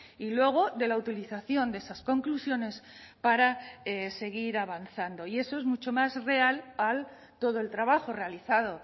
y luego de la utilización de esas conclusiones para seguir avanzando y eso es mucho más real todo el trabajo realizado